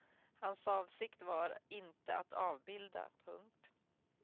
Hans avsikt var inte att avbilda. punkt